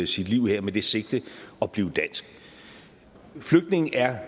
sit liv her med det sigte at blive dansk flygtninge er